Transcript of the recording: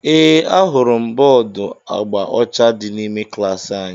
Ee, ahụrụ m bọọdu agba ọcha dị n'ime klaasị anyị